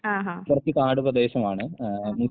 ആഹാ. ആഹ്.